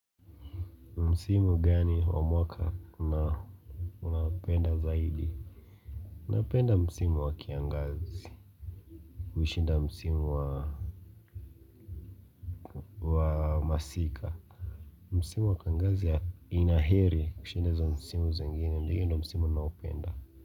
Ni msimu gani wa mwaka unapenda zaidi? Napenda msimu wa kiangazi kushinda msimu wa masika Msimu wa kiangazi ina heri kushinda za msimu zengine na hiyo ndio msimu ninaoupenda.